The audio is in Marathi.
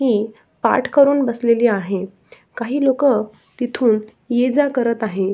हे पाठ करून बसलेली आहे काही लोकं तिथून ये जा करत आहेत.